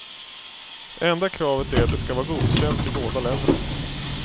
Enda kravet är att det ska vara godkänt i båda länderna.